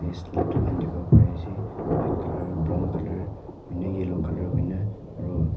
dukan dikhibo pari ase white colour brown colour hoini yellow colour hoine aru--